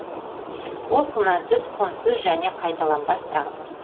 ол күмәнсіз құнсыз және қайталанбас дағды